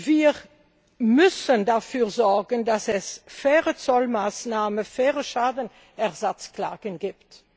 Wir müssen dafür sorgen, dass es faire Zollmaßnahmen, faire Schadenersatzklagen gibt.